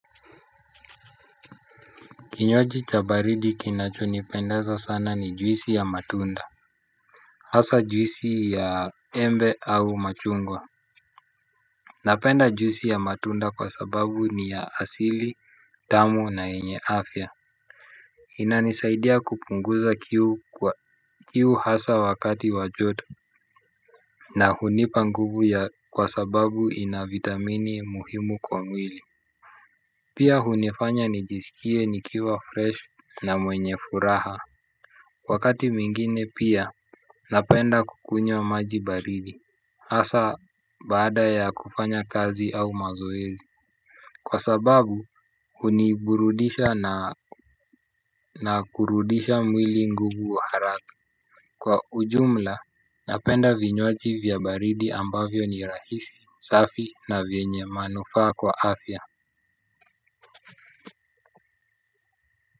Kinywaji chabaridi kinacho nipendeza sana ni juisi ya matunda. Hasa juisi ya embe au machungwa. Napenda juisi ya matunda kwa sababu ni ya asili, tamu na yenye afya. Inanisaidia kupunguza kiu kiu hasa wakati wajoto. Na hunipanguvu ya kwa sababu ina vitamini muhimu kwa mwili. Pia hunifanya nijiskie nikiwa fresh na mwenye furaha wakati mwingine pia napenda kukunywa maji baridi, hasa baada ya kufanya kazi au mazoezi. Kwa sababu, uniburudisha na kurudisha mwili nguvu haraka. Kwa ujumla, napenda vinywaji vya baridi ambavyo ni rahisi, safi na vyenye manufaa kwa afya.